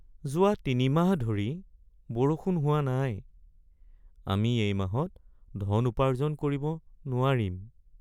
যোৱা ৩ মাহ ধৰি বৰষুণ হোৱা নাই। আমি এই মাহত ধন উপাৰ্জন কৰিব নোৱাৰিম।